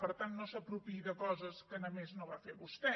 per tant no s’apropiï de coses que no només va fer vostè